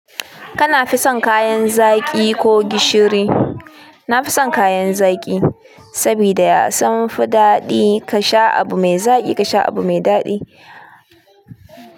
Kana fi son kayan zaƙi ko gishiri? Na fi son kayan zaƙi, saboda ya sunfi daɗi ka sha abu mai zaƙi ka sha abu mai daɗi.